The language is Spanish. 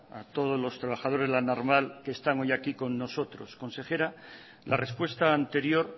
a todo los trabajadores de la naval que están hoy aquí con nosotros consejera la respuesta anterior